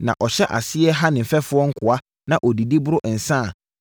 na ɔhyɛ aseɛ ha ne mfɛfoɔ nkoa, na ɔdidi, boro nsã a,